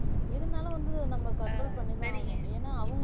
இருந்தாலும் வந்து நம்ம control பண்ணி தான் ஆகணும் ஏன்னா அவங்க